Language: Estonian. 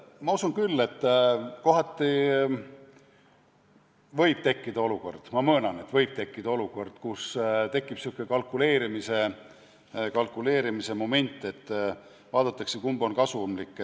Ma usun küll, et kohati võib tekkida olukord – ma möönan, et võib tekkida olukord –, kus tekib kalkuleerimise moment, vaadatakse, kumb on kasumlikum.